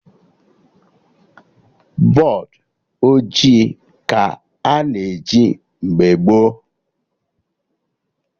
Bọdụ ojii ka a na eji mgbe gboo